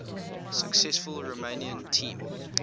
successful romanian team